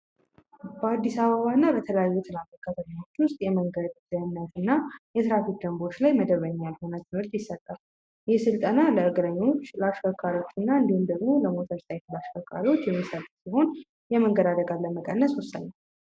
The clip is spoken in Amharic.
በአዲስ አበባ እና በተለያዩ ትላልቅ ከተሞች ውስጥ የመንገድ ትራንስፖርት ላይ የትራፊክ ደንቦች ላይ የተለያዩ ስልጠናዎች ይሰጣል ይህ ስልጠና ለመንገደኞች፣ ለአሽከርካሪዎችና እንዲሁም ለሞተር አሽከርካሪዎች የሚሰጥ ሲሆን የመንገድ አደጋ ለመቀነስ ወሳኝ ነው።